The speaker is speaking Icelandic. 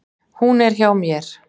Hún er hjá mér.